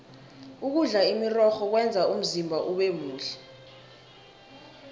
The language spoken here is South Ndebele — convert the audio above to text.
ukudla imirorho kwenza umzimba ubemuhle